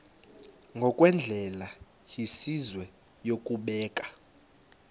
ngokwendlela yesizwe yokubeka